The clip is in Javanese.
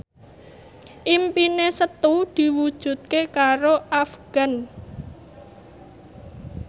impine Setu diwujudke karo Afgan